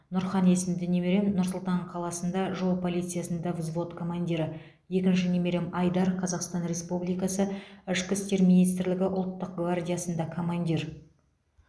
нұрхан есімді немерем нұр сұлтан қаласында жол полициясында взвод командирі екінші немерем айдар қазақстан республикасы ішкі істер министрлігі ұлттық гвардиясында командир